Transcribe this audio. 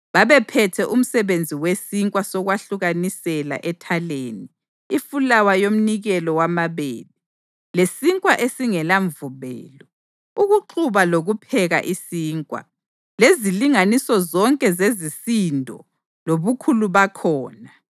Babephethe umsebenzi wesinkwa sokwahlukanisela ethaleni, ifulawa yomnikelo wamabele, lesinkwa esingelamvubelo, ukuxuba lokupheka isinkwa, lezilinganiso zonke zezisindo lobukhulu bakhona.